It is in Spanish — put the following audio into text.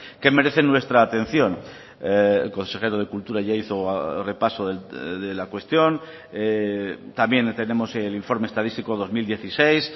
que merecen nuestra atención el consejero de cultura ya hizo repaso de la cuestión también tenemos el informe estadístico dos mil dieciséis